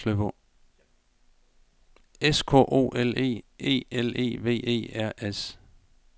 S K O L E E L E V E R S